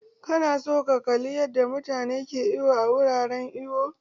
Ka na son ka kalli yadda mutane ke iwo a wurin iwo?